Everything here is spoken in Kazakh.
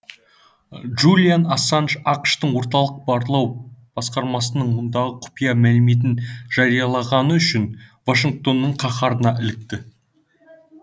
джулиан ассанж ақш тың орталық барлау басқармасының мыңдаған құпия мәліметін жариялағаны үшін вашингтонның қаһарына ілікті